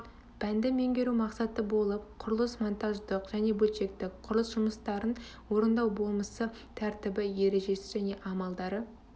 пәнді меңгеру мақсаты болып құрылыс монтаждық және бөлшектік құрылыс жұмыстарын орындау болмысы тәртібі ережесі және амалдары